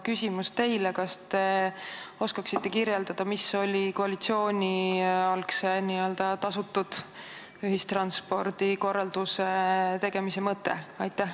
Kas te aga oskate kirjeldada, mis oli koalitsiooni algse n-ö tasutud ühistranspordi korralduse tegemise mõte?